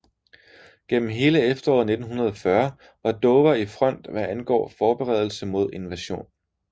Gennem hele efteråret 1940 var Dover i front hvad angår forberedelse mod invasion